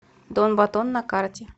дон батон на карте